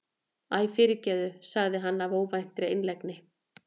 Æ, fyrirgefðu- sagði hann af óvæntri einlægni.